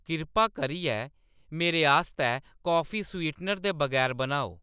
किरपा करियै मेरे आस्तै काफी स्वीटनर दे बगैर बनाओ